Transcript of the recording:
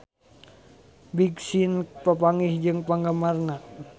Big Sean papanggih jeung penggemarna